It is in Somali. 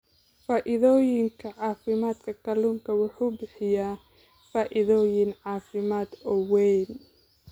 Faa'iidooyinka Caafimaadka Kalluunku wuxuu bixiyaa faa'iidooyin caafimaad oo weyn.